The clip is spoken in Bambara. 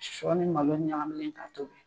Sɔ ni malo ɲakamilen ka tobi.